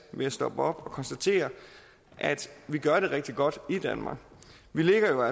ved at stoppe op og konstatere at vi gør det rigtig godt i danmark vi ligger